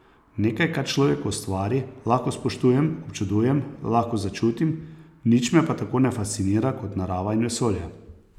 Nekaj, kar človek ustvari, lahko spoštujem, občudujem, lahko začutim, nič me pa tako ne fascinira kot narava in vesolje.